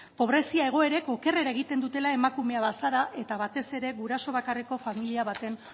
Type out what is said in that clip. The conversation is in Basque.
pobrezia egoerek okerrera egiten dutela emakume bazara eta batez ere guraso bakarreko familia baten